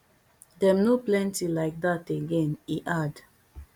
dem no plenty like dat again e add